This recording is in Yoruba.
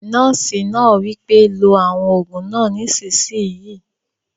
Nọ́ọ̀sì náà wí pé "lo àwọn òògùn náà nísìsiyìí!"